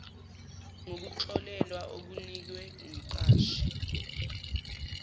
ngokuxolelwa okunikwe umqashi